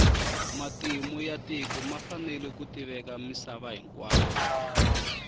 matimu ya tiko ma fanele ku tiveka misava hinkwayo